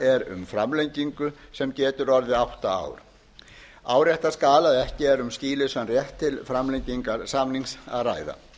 um framlengingu sem getur orðið átta ár árétta skal að ekki erum skýlausan rétt til framlengingar samnings að ræða